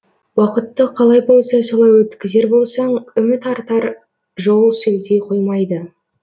уақытты қалай болса солай өткізер болсаң үміт артар жол сілтей қоймайды